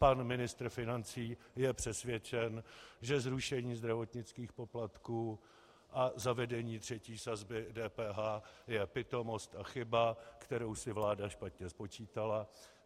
Pan ministr financí je přesvědčen, že zrušení zdravotnických poplatků a zavedení třetí sazby DPH je pitomost a chyba, kterou si vláda špatně spočítala.